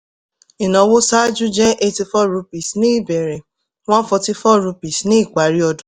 ìnáwó sáájú jẹ́ eighty-eight rupees ní ìbẹ̀rẹ̀ one forty-four rupees ní ìparí